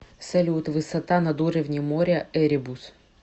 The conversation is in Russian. салют высота над уровнем моря эребус